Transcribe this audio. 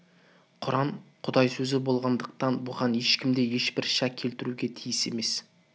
құран құдай сөзі болғандықтан бүған ешкім де ешбір шәк келтіруге тиіс емес